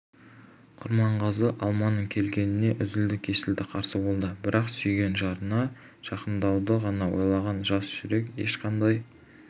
құрманғазы алманың келгеніне үзілді-кесілді қарсы болады бірақ сүйген жарына жақындауды ғана ойлаған жас жүрек ешқандай